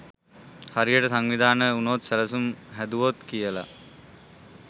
හරියට සංවිධානය උනොත් සැලසුම් හැදුවොත් කියල.